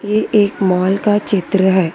ये एक मॉल का चित्र है।